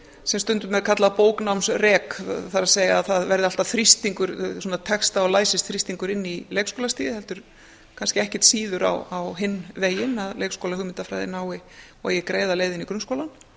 sem stundum er kallað bóknámsrek það er það verði alltaf þrýstingur svona texta og læsisþrýstingur inn í leikskólastigið heldur kannski ekkert síður á hinn veginn að leikskólahugmyndafræðin nái og eigi greiða leið inn í grunnskólann